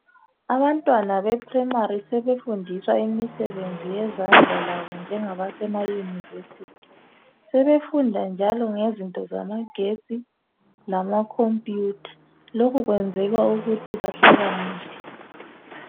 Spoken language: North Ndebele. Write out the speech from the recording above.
Abantwana beprimary sebefundiswa imisebenzi yezandla labo, njengabase university. Sebefunda njalo ngezinto zamagetsi, lamacomputer. Lokhu kwenzelwa ukuthi bahlakaniphe.